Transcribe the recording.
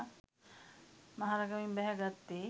මහරගමින් බැහැ ගත්තේ